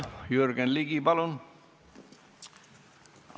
Jürgen Ligi, palun!